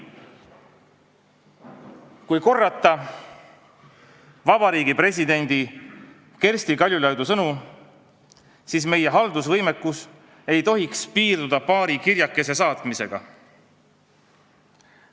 Kui korrata Vabariigi Presidendi Kersti Kaljulaidi sõnu, siis meie haldusvõimekus ei tohiks piirduda paari kirjakese saatmisega.